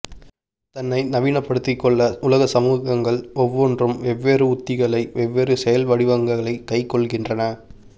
தன்னை நவீனப்படுத்திக்கொள்ள உலக சமூகங்கள் ஒவ்வொன்றும் வெவ்வேறு உத்திகளை வெவ்வேறு செயல்வடிவங்களை கைக்கொள்கின்றன